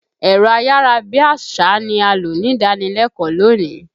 Ẹ̀rọ ayàra bí àṣá ni a lò nídànílẹ́kọ̀ọ́ lónìí.